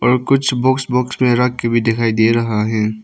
और कुछ books box में रख के भी दिखाई दे रहा है।